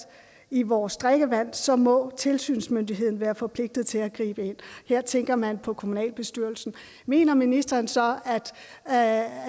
i vores drikkevand så må tilsynsmyndigheden være forpligtet til at gribe ind og her tænker man på kommunalbestyrelsen mener ministeren så at